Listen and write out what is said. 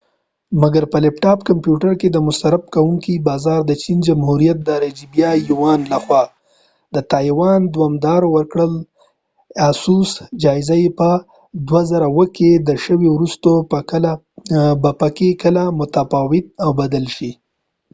مګر په لیپ ټاپ کمپیوټر کې د مصرف کونکي بازار د چین جمهوریت د اجراییه یوان لخوا د تایوان دوامداره جایزه په 2007 کې د asus ورکړل شوي وروسته به په کلکه متفاوت او بدل شي